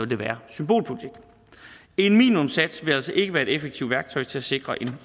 det være symbolpolitik en minimumssats vil altså ikke være et effektivt værktøj til at sikre en